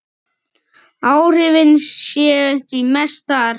Áhrifin séu því mest þar.